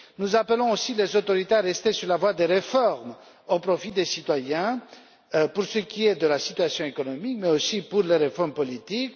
Nous appelons aussi les autorités à continuer sur la voie des réformes au profit des citoyens, pour ce qui est de la situation économique, mais aussi de poursuivre les réformes politiques.